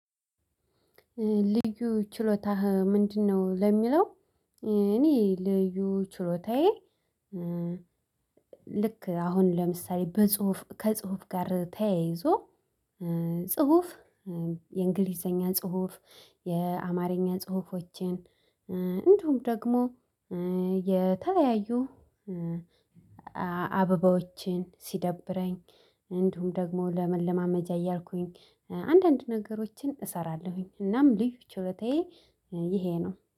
ልዩ ችሎታህ ምንድነው? ለሚለው እኔ ልዩ ችሎታዬ። ልክ አሁን ለምሳሌ በጽሁፍ ከጽሁፍ ጋር ተያይዞ። ጽሁፍ የእንግሊዘኛን ጽሁፍ የአማርኛን ጽሁፎችን እንደውም ደግሞ። የተለያዩ አበባዎችን ሲደብረኝ እንዲሁም ደግሞ ለመለማመጃ እያልኩኝ አንዳንድ ነገሮችን እሰራለሁኝ። እናም ልዩ ችሎታዬ ይሄ ነው